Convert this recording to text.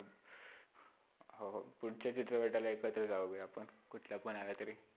हो, पुढच्या चित्रपटाला एकत्र जाऊया. आपण कुठ्लापण आलातरी.